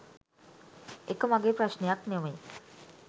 එක මගේ ප්‍රශ්නයක් නොවෙයි.